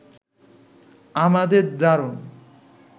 আমাদের দারুণ